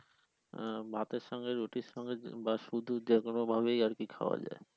আহ ভাতে সঙ্গে রুটির সঙ্গে বা শুধু যেকোন ভাবেই আরকি খাওয়া যায়।